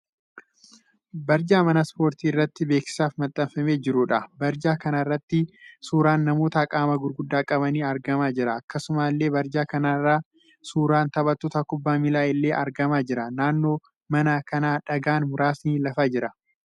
Barjaa mana ispoortii irratti beeksisaaf maxxanfamee jiruudha. Barjaa kana irratti suuraan namoota qaama gurguddaa qabanii argamaa jira. Akkasumallee barjaa kana irra suuraan taphattoota kubbaa miilaa illee argamaa jira. Naannoo mana kanaa dhagaan muraasni lafa jira.